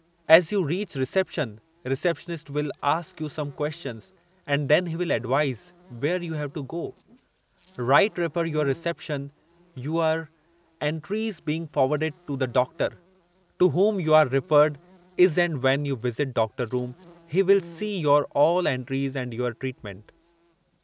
as you reach reception, receptionist will ask you some questions and then he will advise, where you have to go", right refer your reception, your entries is being forwarded to the doctor to whom you are referred is and when you visit doctor room he will see your all entries and your treatment "